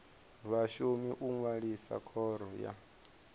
vhashumi u ṅwalisa khoro ya